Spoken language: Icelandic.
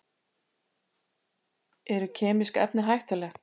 Eru kemísk efni hættuleg?